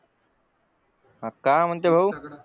अं काय म्हणते भाऊ